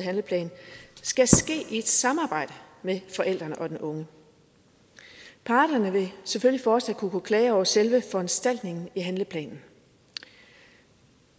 handleplan skal ske i et samarbejde med forældrene og den unge parterne vil selvfølgelig fortsat kunne klage over selve foranstaltningen i handleplanen